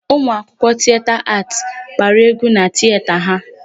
Ụmụ akwụkwọ Tieta Aatị gbara égwú na Tieta ha.